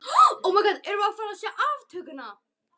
Erum við að fara að sjá aftökuna?